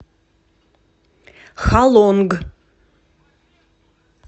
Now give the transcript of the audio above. халонг